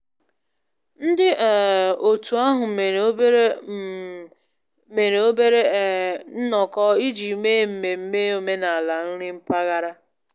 Ndị um otu ahụ mere obere um mere obere um nnọkọ iji mee mmemme omenala nri mpaghara